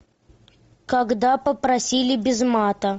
когда попросили без мата